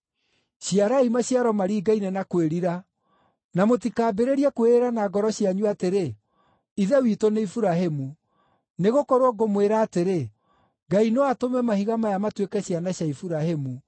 Ciarai maciaro maringaine na kwĩrira. Na mũtikambĩrĩrie kwĩĩra na ngoro cianyu atĩrĩ, ‘Ithe witũ nĩ Iburahĩmu,’ Nĩgũkorwo ngũmwĩra atĩrĩ, Ngai no atũme mahiga maya matuĩke ciana cia Iburahĩmu.